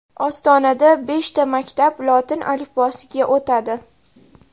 Ostonada beshta maktab lotin alifbosiga o‘tadi.